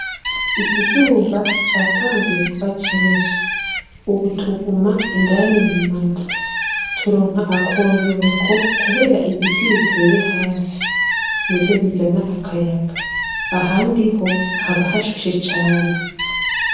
Ikizuba catanguye kuba cinshi. Ubu tuguma indani mu mazu. Turonka akoyoko kubera ibiti biteye hafi, nivyo bizana akayaga ; ahandi ho haba hashushe cane.